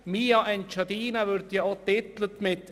«mia Engiadina» wirbt auch mit dem folgenden Satz: